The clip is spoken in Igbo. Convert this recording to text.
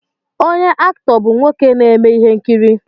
Onye Aktọọ bụ nwoke na-eme ihe nkiri